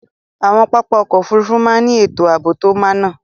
Awọn papá ọ̀kọ̀ ofúrúfú màà ni etò aabo to máná